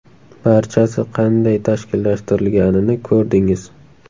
Barchasi qanday tashkillashtirilganini ko‘rdingiz.